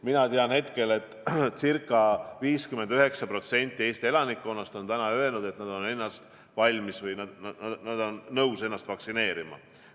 Mina tean hetkel, et ca 59% Eesti elanikkonnast on öelnud, et nad on nõus laskma ennast vaktsineerida.